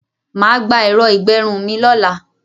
Má á gba ẹ̀rọ ìgbẹrun mi lọ́la.